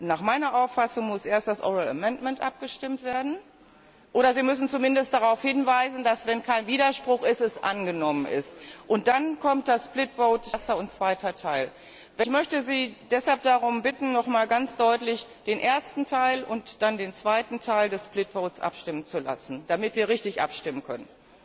Nach meiner Auffassung muss also erst über den mündlichen Änderungsantrag abgestimmt werden oder Sie müssen zumindest darauf hinweisen, dass er, wenn kein Widerspruch ist, angenommen ist. Und dann kommt das erster und zweiter Teil. Ich möchte Sie deshalb darum bitten, nochmals ganz deutlich über den ersten Teil und dann über den zweiten Teil des abstimmen zu lassen, damit wir richtig abstimmen können.